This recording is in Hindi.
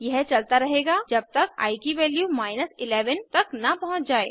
यह चलता रहेगा जब तक आई की वैल्यू 11 तक न पहुँच जाये